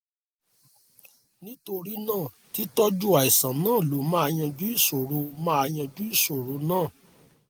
nítorí náà títọ́jú àìsàn náà ló máa yanjú ìṣòro máa yanjú ìṣòro náà